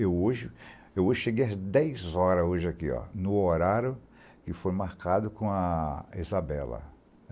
Eu hoje cheguei às dez horas hoje aqui, no horário que foi marcado com a Isabela.